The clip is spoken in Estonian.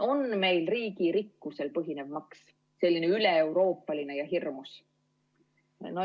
On meil riigi rikkusel põhinev maks, selline üleeuroopaline ja hirmus?